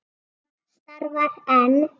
Það starfar enn.